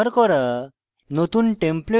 নতুন template যোগ করা